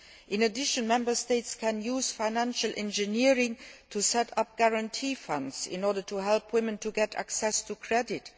In addition, Member States can use financial engineering to set up guarantee funds in order to help women to get access to credit.